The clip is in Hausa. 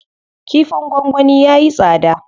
Kifin gwangwani yayi tsada.